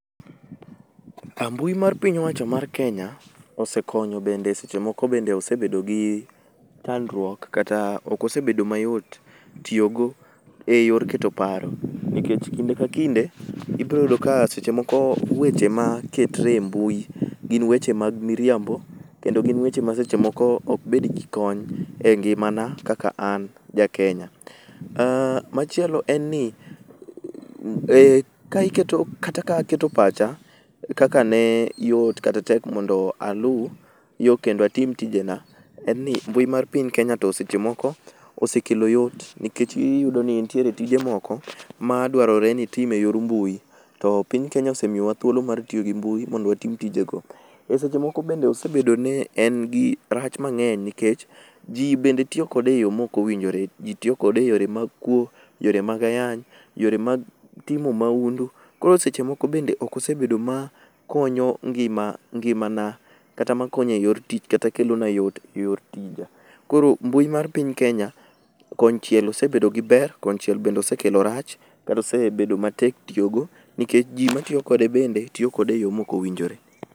Ah mbui mar piny owacho mar Kenya osekonyo bende seche moko bende osebedo gi chandruok kata okosebedo mayot tiyogo e yor keto paro. Nikech kinde ka kinde ibroyudo ka seche moko weche maketre e mbui gin weche mag miriambo, kendo gin weche ma seche moko ok bed gi kony e ngimana kaka an ja Kenya. Machielo en ni, ka iketo kata ka aketo pacha, kaka ne yot kata tek mondo alu yo kendo atim tijena, en ni mbui mar piny Kenya to seche moko osekelo yot. Nikech iyudo ni nitiere tije moko ma dwarore ni itim e yor mbui, to piny Kenya osemiyowa thuolo mar tiyo gi mbui mondo watim tijego. E seche moko bende osebedo ni en gi rach mang'eny nikech ji bende tiyo kode e yo mokowinjore. Ji tiyo kode e yore mag kuo, yore mag ayany, yore mag timo maundu. Koro seche moko bende okosebedo ma konyo ngimana kata makonyo e yor tich kata makelona yot e yor tija. Koro mbui mar piny Kenya konchiel osebedo gi ber, konchiel bende osekelo rach kata osebedo matek tiyo go nikech ji matiyo kode bende tiyo kode e yo mokowinjore.